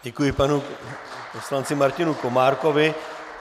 Děkuji panu poslanci Martinu Komárkovi.